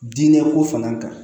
Diinɛ ko fana kan